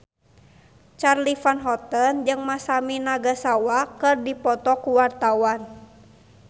Charly Van Houten jeung Masami Nagasawa keur dipoto ku wartawan